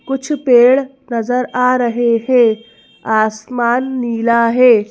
कुछ पेड़ नजर आ रहे हैं आसमान नीला है।